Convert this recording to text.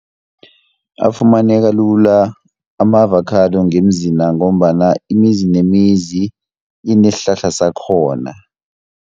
Afumaneka lula ama-avakhado ngemzina, ngombana imizi nemizi inesihlahla sakhona.